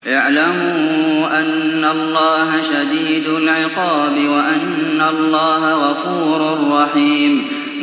اعْلَمُوا أَنَّ اللَّهَ شَدِيدُ الْعِقَابِ وَأَنَّ اللَّهَ غَفُورٌ رَّحِيمٌ